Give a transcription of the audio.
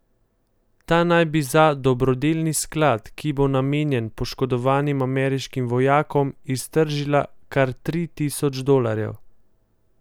Ta naj bi za dobrodelni sklad, ki bo namenjen poškodovanim ameriškim vojakom, iztržila kar tri tisoč dolarjev.